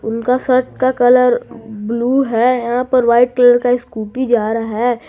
उनका शर्ट का colour blue है यहां पर वाइट कलर का स्कूटी जा रहा है।